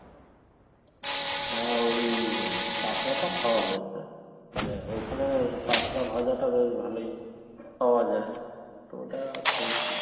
হ্যাঁ ওই উম কাকড়া টা খাইয়া হয়েছে মানে ওইখানে কাকড়া ভাজাটা বেশ ভালোই খাইয়া যাই তো ওটা খেয়েছি